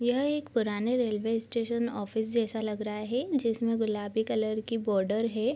यह एक पुराने रेलवे स्टेशन ऑफिस जैसा लग रहा है जिसमें गुलाबी कलर की बॉर्डर है।